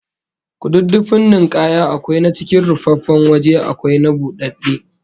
Kududdufin ninkaya akwai na cikin rufaffen waje akwai na budadde